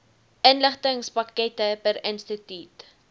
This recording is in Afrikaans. inligtingspakkette per instituut